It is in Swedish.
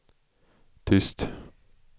tyst